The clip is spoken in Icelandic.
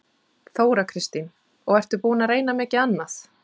Þóra Kristín: Og ertu búinn að reyna mikið annað?